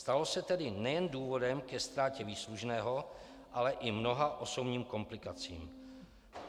Stalo se tedy nejen důvodem ke ztrátě výslužného, ale i mnoha osobním komplikacím.